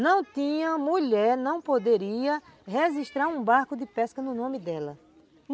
Não tinha mulher, não poderia registrar um barco de pesca no nome dela.